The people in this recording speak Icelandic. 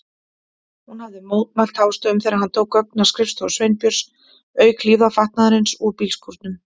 Hún hafði mótmælt hástöfum þegar hann tók gögn af skrifstofu Sveinbjörns, auk hlífðarfatnaðarins úr bílskúrnum.